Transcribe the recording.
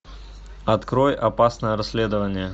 открой опасное расследование